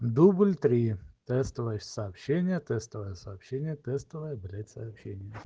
дубль три тестовое сообщение тестовое сообщение тестовое блять сообщение